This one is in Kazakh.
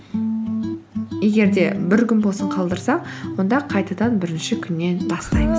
егер де бір күн болсын қалдырсақ онда қайтадан бірінші күннен бастаймыз